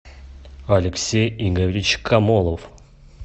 алексей игоревич комолов